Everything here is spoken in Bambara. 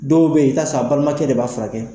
Dɔw bɛ ye i bɛ taa sɔrɔ a balimakɛ de b'a furakɛ.